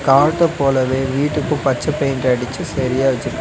காட்ட போலவே வீட்டுக்கு பச்ச பெயிண்ட் அடிச்சு செரியா வெச்சிருக்கா--